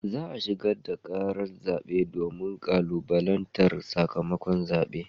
Za a shigar da karar zabe domin kalubalantar sakamakon zaben.